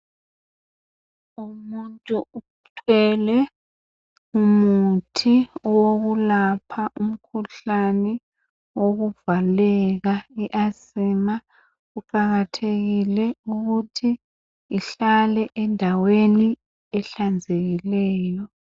Umuntu uthwele umuthi wokulapha umkhuhlane wokuvaleka iasima kuqakathekile ukuthi uhlale endaweni ehlanzekileyo